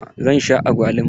Zan sha agwaluma.